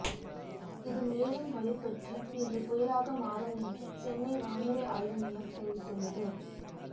இது மேலும் வலுப்பெற்று இன்று புயலாக மாறும் என்று சென்னை வானிலை ஆய்வுமையம் தெரிவித்துள்ளது